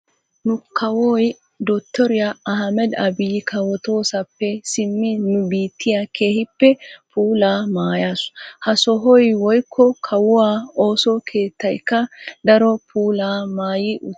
Nu kawuwa dottoriya Ahimeda Abiyi kawotoosappe simmin nu biittiya keehippe puulaa maayaasu. Ha sohoy woyikko kawuwa ooso keettayikka daro puulaa maayi uttis.